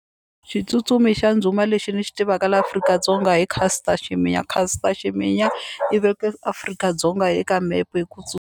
Xitsutsumi xa ndhuma lexi ni xi tivaka laha Afrika-Dzonga hi Caster Semenya Caster Semenya i veke Afrika-Dzonga eka mepe hi ku .